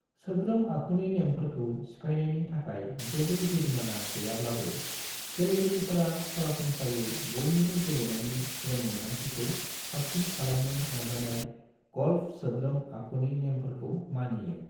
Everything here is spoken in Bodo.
सोद्रोम आखुनि नेमफोरखौ सिफायनायनि थाखाय जेबो जुरिमाना गैयाब्लाबो, गेलेगिरिफोरा सरासनस्रायै बयनिबो गेलेनायनि रोंमोन्दांथिखौ साबसिन खालामनो नाजानायाव गल्फ सोद्रोम आखुनि नेमफोरखौ मानियो।